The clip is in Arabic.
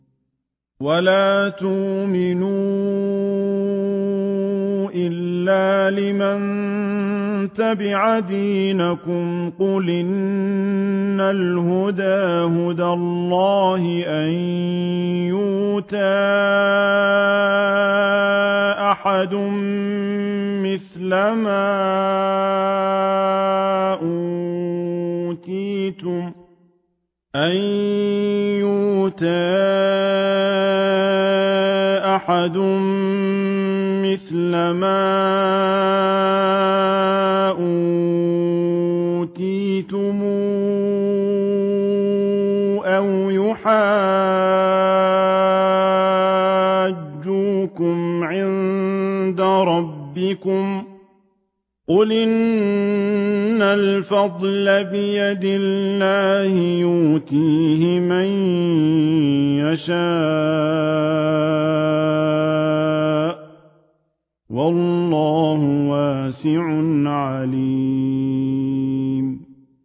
وَلَا تُؤْمِنُوا إِلَّا لِمَن تَبِعَ دِينَكُمْ قُلْ إِنَّ الْهُدَىٰ هُدَى اللَّهِ أَن يُؤْتَىٰ أَحَدٌ مِّثْلَ مَا أُوتِيتُمْ أَوْ يُحَاجُّوكُمْ عِندَ رَبِّكُمْ ۗ قُلْ إِنَّ الْفَضْلَ بِيَدِ اللَّهِ يُؤْتِيهِ مَن يَشَاءُ ۗ وَاللَّهُ وَاسِعٌ عَلِيمٌ